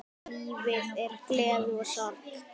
Lífið er gleði og sorg.